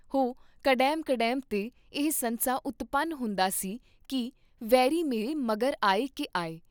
ਹੁ ਕਡੈਮਕਡੈਮਤੇ ਇਹ ਸੰਸਾ ਉਤਪਨ ਹੁੰਦਾ ਸੀ ਕੀ ਵੈਰੀ ਮੇਰੇ ਮਗਰ ਆਏ ਕੀ ਆਏ।